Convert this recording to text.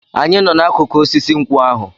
Anyị nọ n'akụkụ osisi nkwụ ahụ.